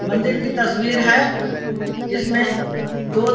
मंदिर की तस्वीर है। इसमें दो --